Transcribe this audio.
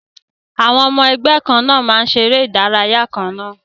Àwọn ọmọ ẹgbẹ́ kan náà máa ń ṣeré ìdárayá kan náà